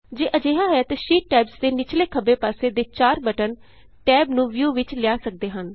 ਜੇ ਅਜਿਹਾ ਹੈ ਤਾਂ ਸ਼ੀਟ ਟੈਬਸ ਦੇ ਨਿਚਲੇ ਖੱਬੇ ਪਾਸੇ ਦੇ ਚਾਰ ਬਟਨ ਟੈਬ ਨੂੰ ਵਿਊ ਵਿਚ ਲਿਆ ਸਕਦੇ ਹਨ